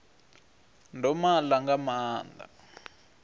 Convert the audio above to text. ndo ma ḽa nga maanḓa